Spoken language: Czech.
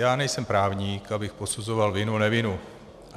Já nejsem právník, abych posuzoval vinu, nevinu.